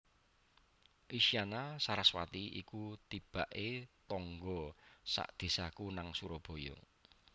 Isyana Saraswati iku tibak e tangga sak desaku nang Surabaya